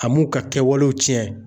A m'u ka kɛwalew tiɲɛ.